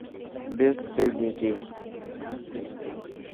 бесстыдники